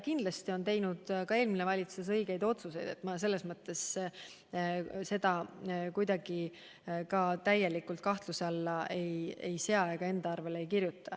Kindlasti on teinud ka eelmine valitsus õigeid otsuseid, ma ei sea seda kuidagi täielikult kahtluse alla ega kirjuta enda arvele.